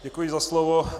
Děkuji za slovo.